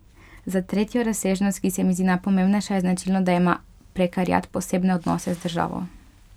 Za tretjo razsežnost, ki se mi zdi najpomembnejša, je značilno, da ima prekariat posebne odnose z državo.